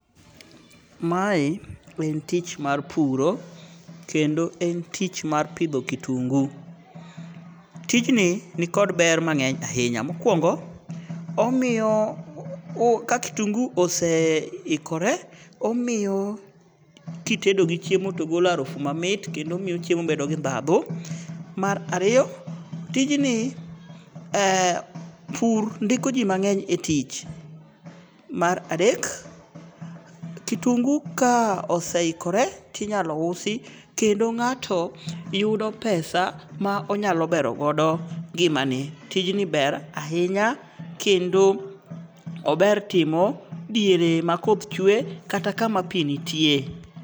Mae en tich mar puro. Kendo en tich mar pidho kitungu. Tijni ni kod ber mang'eny ahinya. Mokwongo omiyo ka kitungu ose ikore. omiyo kitedo gi chiemo to golo arufu mamit kendo miyo chiemo bedo gi dhadhu. Mar ariyo, tijni pur ndiko ji mang'eny e tich. Mar adek, kitungu ka oseiokore tinyalo usi kendo ng'ato yudo pesa ma onyalo bero godo ngimane. Tijni ber ahinya kendo ober timo diere ma koth chwe kata kama pi nitie.